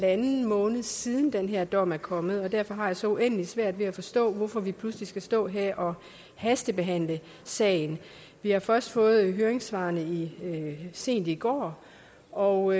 måned siden den her dom er kommet og derfor har jeg så uendelig svært ved at forstå hvorfor vi pludselig skal stå her og hastebehandle sagen vi har først fået høringssvarene sent i går og